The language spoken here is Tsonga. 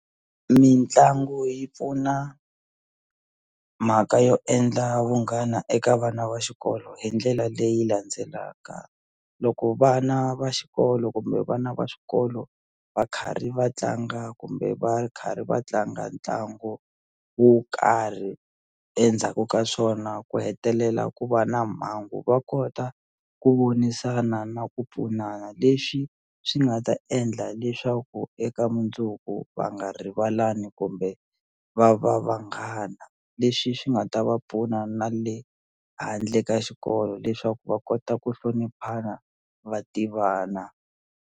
Mitlangu yi pfuna mhaka yo endla vunghana eka vana va xikolo hi ndlela leyi landzelaka loko vana va xikolo kumbe vana va swikolo va karhi va tlanga kumbe va karhi va tlanga ntlangu wo karhi endzhaku ka swona ku hetelela ku va na mhangu va kota ku vonisana na ku pfunana leswi swi nga ta endla leswaku eka mundzuku va nga rivalani kumbe va va vanghana leswi swi nga ta va pfuna na le handle ka xikolo leswaku va kota ku hloniphana va tivana.